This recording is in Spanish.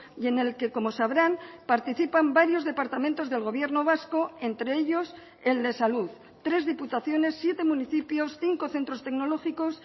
y en el que como sabrán participan varios departamentos del gobierno vasco entre ellos el de salud tres diputaciones siete municipios cinco centros tecnológicos